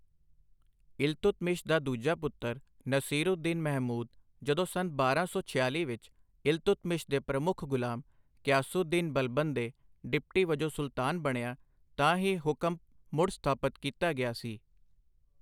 ਇਲਤੁਤਮਿਸ਼ ਦਾ ਦੂਜਾ ਪੁੱਤਰ ਨਸੀਰੂ ਦੀਨ ਮਹਿਮੂਦ ਜਦੋਂ ਸੰਨ ਬਾਰਾਂ ਸੌ ਛਿਆਲ਼ੀ ਵਿੱਚ ਇਲਤੁਤਮਿਸ਼ ਦੇ ਪ੍ਰਮੁੱਖ ਗੁਲਾਮ, ਗਿਆਸੁਉਦ ਦੀਨ ਬਲਬਨ ਦੇ ਡਿਪਟੀ ਵਜੋਂ ਸੁਲਤਾਨ ਬਣਿਆ ਤਾਂ ਹੀ ਹੁਕਮ ਮੁੜ ਸਥਾਪਤ ਕੀਤਾ ਗਿਆ ਸੀ।